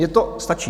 Mně to stačí!